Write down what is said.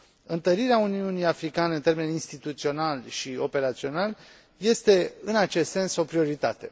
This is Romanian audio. Întărirea Uniunii Africane în termeni instituționali și operaționali este, în acest sens, o prioritate